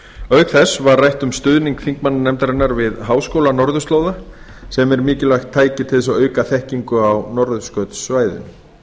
auk þess var rætt um stuðning þingmannanefndarinnar við háskóla norðurslóða sem er mikilvægt tæki til þess að auka þekkingu á norðurskautssvæðinu